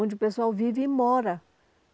Onde o pessoal vive e mora.